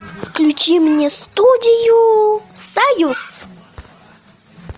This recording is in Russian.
включи мне студию союз